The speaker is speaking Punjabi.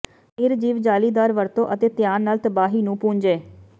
ਨਿਰਜੀਵ ਜਾਲੀਦਾਰ ਵਰਤੋ ਅਤੇ ਧਿਆਨ ਨਾਲ ਤਬਾਹੀ ਨੂੰ ਪੂੰਝੇ